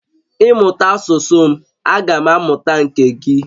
Ị mụta asusu m agam amuta nke gi